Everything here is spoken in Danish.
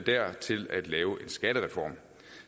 til at lave en skattereform